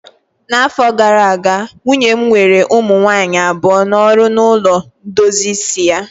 N'afọ gara aga, nwunye m were ụmụ nwanyị abụọ n'ọrụ na ulo ndozi isi ya